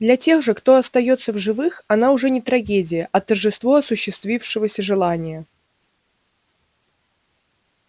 для тех же кто остаётся в живых она уже не трагедия а торжество осуществившегося желания